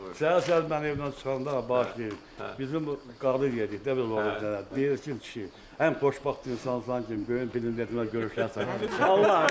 Hə, sən mən evdən çıxanda, qardaş, bizim bu qadın deyir ki, kişi, ən xoşbəxt insansan ki, bu gün Prezidentimlə görüşlərsən.